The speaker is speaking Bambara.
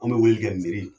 An bɛ wele kɛ miri